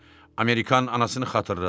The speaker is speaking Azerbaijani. Amerikan anasını xatırladı.